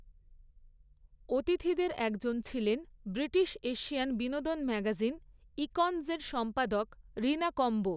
অতিথিদের একজন ছিলেন ব্রিটিশ এশিয়ান বিনোদন ম্যাগাজিন, ইকঞ্জের সম্পাদক রিনা কম্বো।